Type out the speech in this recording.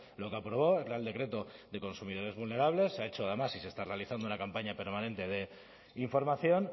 lo que aprobó el real decreto de consumidores vulnerables se ha hecho además y se está realizando una campaña permanente de información